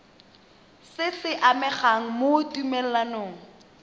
se se amegang mo tumalanong